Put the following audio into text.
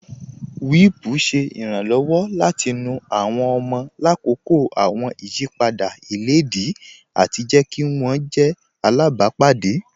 Wípùú ṣẹ̀ ìrànlọ́wọ̀ láti nú àwọn ọ̀mọ̀ làkọ́kọ́ àwọn ìyìpadà ilẹ̀díì ati jẹ̀ kí wọn jẹ̀ àlábàpádé.